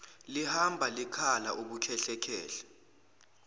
lihamba likhala ubukhehlekhehle